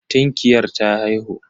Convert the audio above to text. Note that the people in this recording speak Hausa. Tinkiyar ta haihu.